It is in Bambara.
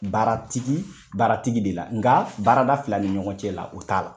Baaratigi baaratigi de la nga baarada fila ni ɲɔgɔn cɛ la o t'a la.